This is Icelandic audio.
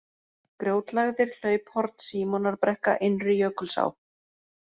Grjótlægðir, Hlauphorn, Símonarbrekka, Innri-Jökulsá